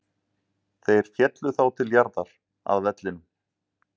Þeir féllu þá til jarðar, að vellinum.